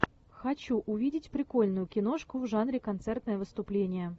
хочу увидеть прикольную киношку в жанре концертное выступление